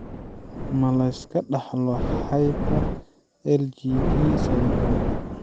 Ma la iska dhaxlo hyper IgD syndromka